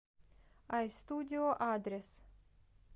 айстудио адрес